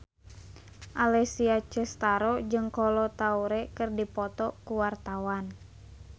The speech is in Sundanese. Alessia Cestaro jeung Kolo Taure keur dipoto ku wartawan